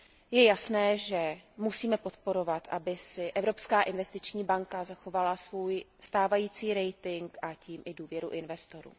Je jasné, že musíme podporovat, aby si Evropská investiční banka zachovala svůj stávající rating a tím i důvěru investorů.